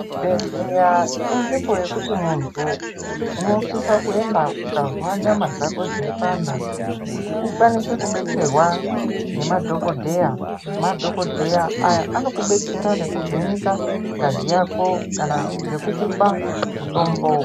Bhedhleya inzvimbo yokuti muntu unosise kuenda ukanzwa nyama dzako dzeipamha kuti ukwanise kubetserwa nemadhokodheya madhokodheya Aya andokubetsera ndokuvheneka ngazi yako kana ngekukupa mutombo.